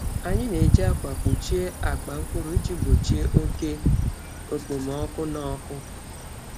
Anyị na-eji akwa kpuchie akpa mkpụrụ iji gbochie oke okpomọkụ na ọkụ.